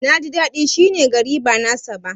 Na ji dadi shi ne gari ba na saba ba.